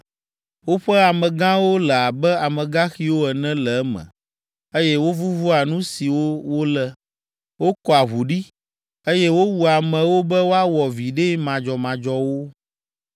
Woƒe amegãwo le abe amegaxiwo ene le eme, eye wovuvua nu siwo wolé. Wokɔa ʋu ɖi, eye wowua amewo be woawɔ viɖe madzɔmadzɔwo.